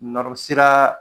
Nɔru siraa